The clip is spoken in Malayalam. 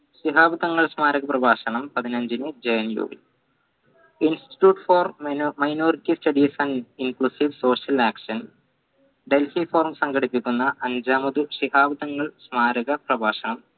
ശിഹാബ് തങ്ങൾ സ്മാരക പ്രഭാഷണം പതിനഞ്ചിന് institute for mino minority studies and social action delhi forum സംഘടിപ്പിക്കുന്ന അഞ്ചാമത് ശിഹാബ് തങ്ങൾ സ്മാരക പ്രഭാഷണം